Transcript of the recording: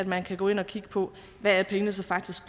man kan gå ind og kigge på hvad pengene så faktisk